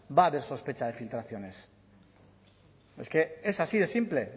va a haber sospecha de filtraciones es que es así de simple